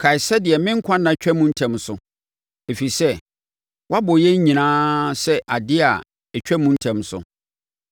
Kae sɛdeɛ me nkwa nna twam ntɛm so. Ɛfiri sɛ woabɔ yɛn nyinaa sɛ adeɛ a ɛtwa mu ntɛm so!